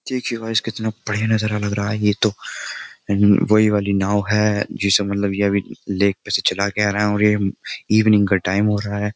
देखिए गाइस कितना बढ़िया नजारा लग रहा है ये तो वही वाली नाव है जिसे मतलब ये अभी लेक पे से चला के आ रहा है और ये इवनिंग का टाइम हो रहा है।